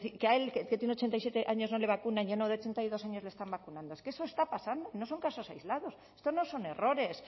que a él que tiene ochenta y siete años no le vacunan y a uno de treinta y dos años le están vacunando es que eso está pasando no son casos aislados estos no son errores